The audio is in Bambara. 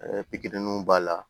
pikiriw b'a la